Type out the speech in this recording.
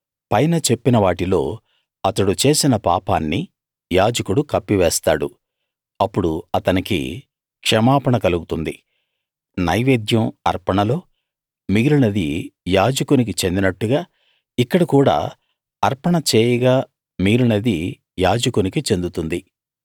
పైన చెప్పిన వాటిలో అతడు చేసిన పాపాన్ని యాజకుడు కప్పివేస్తాడు అప్పుడు అతనికి క్షమాపణ కలుగుతుంది నైవేద్యం అర్పణలో మిగిలినది యాజకునికి చెందినట్టుగా ఇక్కడ కూడా అర్పణ చేయగా మిగిలినది యాజకునికి చెందుతుంది